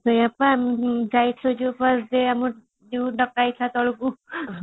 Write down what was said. ସେଇଆ ପା ଯାହା ଇଚ୍ଛା ଯିଏ